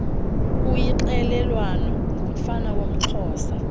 uyixelelwayo ngumfana woomxhosa